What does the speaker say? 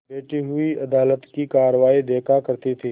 बैठी हुई अदालत की कारवाई देखा करती थी